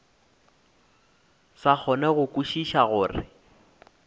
sa kgone go kwešiša gore